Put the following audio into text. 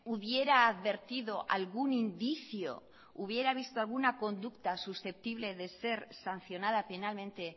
hubiera advertido algún indicio hubiera visto alguna conducta susceptible de ser sancionada penalmente